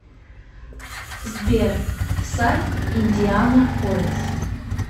сбер сайт индианаполис